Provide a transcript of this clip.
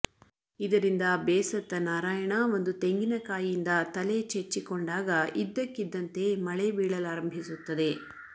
ಇದರಿಂದ ಬೇಸತ್ತ ನಾರಾಯಣ ಒಂದು ತೆಂಗಿನಕಾಯಿಯಿಂದ ತಲೆ ಚೆಚ್ಚಿಕೊಂಡಾಗ ಇದ್ದಕ್ಕಿದ್ದಂತೆ ಮಳೆ ಬೀಳಲಾರಂಭಿಸುತ್ತದೆ